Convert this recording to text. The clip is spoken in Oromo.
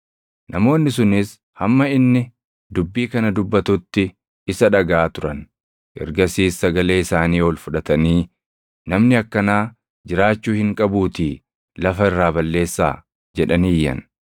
Namoonni sunis hamma inni dubbii kana dubbatutti isa dhagaʼaa turan; ergasiis sagalee isaanii ol fudhatanii, “Namni akkanaa jiraachuu hin qabuutii lafa irraa balleessaa!” jedhanii iyyan.